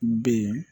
Ben